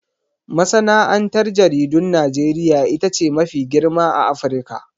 Masana'antar jaridun Najeriya ita ce mafi girma a Afirka.